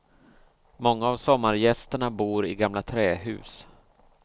Många av sommargästerna bor i gamla trähus.